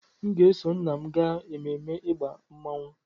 M ga-eso nna m gaa ememme ịgba mmọnwụ.